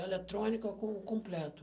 Eletrônica com completo.